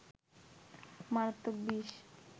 মারাত্মক বিষ